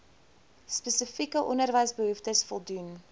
spesifieke onderwysbehoeftes voldoen